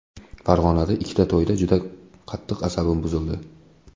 Farg‘onada ikkita to‘yda juda qattiq asabim buzildi.